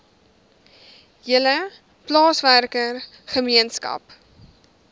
hele plaaswerker gemeenskap